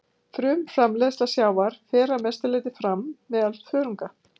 Frumframleiðsla sjávar fer að mestu leyti fram meðal þörunga.